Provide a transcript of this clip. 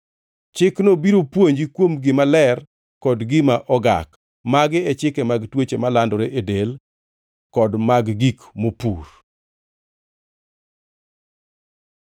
Chikno biro puonji kuom gima ler kod gima ogak. Magi e chike mag tuoche malandore e del kod mag gik mopur.